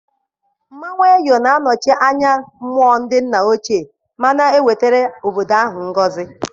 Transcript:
Mmanwụ Eyo na-anọchi anya mmụọ ndị nna ochie ma na-ewetara obodo ahụ ngọzi.